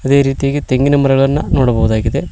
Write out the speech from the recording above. ಅದೇ ರೀತಿಯಾಗಿ ತೆಂಗಿನ ಮರಗಳನ್ನ ನೋಡಬಹುದಾಗಿದೆ.